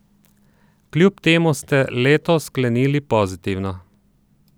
Kljub temu ste leto sklenili pozitivno.